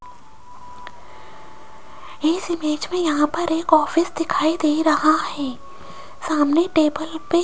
इस इमेज में यहां पर एक ऑफिस दिखाई दे रहा है सामने टेबल पे --